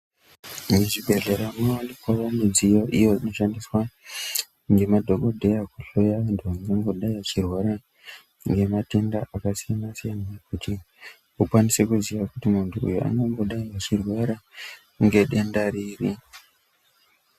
Muzvibhedhlera munowanikwawo midziyo iyo inoshandiswa ngemadhokodheya kuhloya anthu, angangodai achirwara ngematenda akasiyana-siyana. Kuti vakwanise kuziya kuti munthu uyu ungangodai achirwara ngedenda riri.